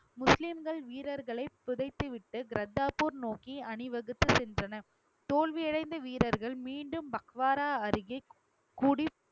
முஸ்லிம்கள் வீரர்களை புதைத்துவிட்டு கர்தார்பூர் நோக்கி அணிவகுத்து சென்றனர் தோல்வி அடைந்த வீரர்கள் மீண்டும் பக்வாரா அருகே கூடி